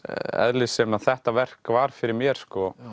eðlis sem þetta verk var fyrir mér